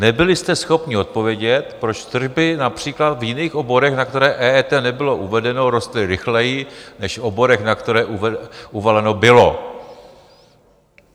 Nebyli jste schopni odpovědět, proč tržby například v jiných oborech, na které EET nebylo uvedeno, rostly rychleji než v oborech, na které uvaleno bylo.